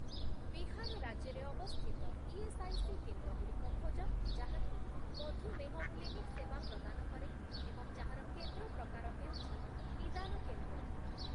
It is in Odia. ବିହାର ରାଜ୍ୟରେ ଅବସ୍ଥିତ ଇଏସ୍ଆଇସି କେନ୍ଦ୍ରଗୁଡ଼ିକ ଖୋଜ ଯାହାକି ମଧୁମେହ କ୍ଲିନିକ୍ ସେବା ପ୍ରଦାନ କରେ ଏବଂ ଯାହାର କେନ୍ଦ୍ର ପ୍ରକାର ହେଉଛି ନିଦାନ କେନ୍ଦ୍ର ।